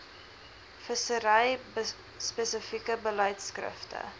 vissery spesifieke beleidskrifte